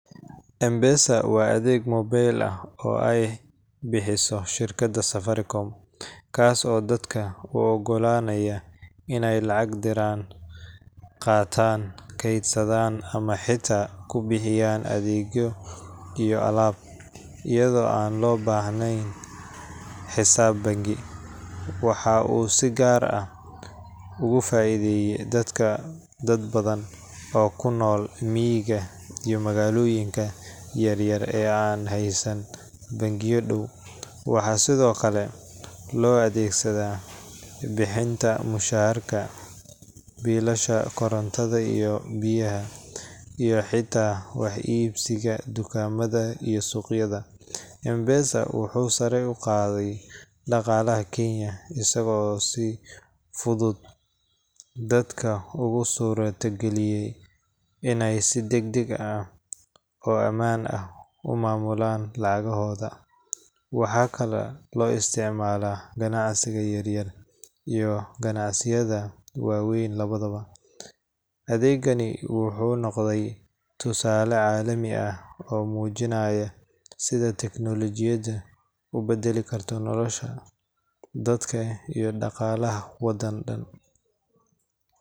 M-Pesa waa adeeg mobile ah oo ay bixiso shirkadda Safaricom, kaas oo dadka u oggolaanaya inay lacag diraan, qaataan, kaydsadaan, ama xitaa ku bixiyaan adeegyo iyo alaab, iyadoo aan loo baahnayn xisaab bangi. Waxa uu si gaar ah uga faa’iideystay dadka ,dad badan oo ku nool miyiga iyo magaalooyinka yaryar ee aan haysan bangiyo dhow. Waxaa sidoo kale loo adeegsadaa bixinta mushaharka, biilasha korontada iyo biyaha, iyo xitaa wax iibsiga dukaamada iyo suuqyada. M-Pesa wuxuu sare u qaaday dhaqaalaha Kenya, isagoo si fudud dadka ugu suura geliyay inay si degdeg ah oo ammaan ah u maamulaan lacagtooda. Waxaa kaloo loo isticmaalaa ganacsiga yaryar iyo ganacsiyada waaweyn labadaba. Adeegani wuxuu noqday tusaale caalami ah oo muujinaya sida teknoolojiyada u beddeli karto nolosha dadka iyo dhaqaalaha waddan dhan